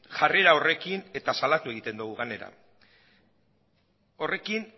jarrera horrekin eta salatu egiten dogu gainera horrekin